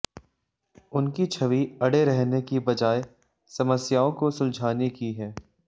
उनकी छवि अड़े रहने की बजाय समस्याओं को सुलझाने की है